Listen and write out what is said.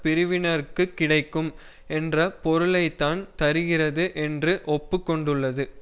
பிரிவினருக்கு கிடைக்கும் என்ற பொருளைத்தான் தருகிறது என்று ஒப்பு கொண்டுள்ளது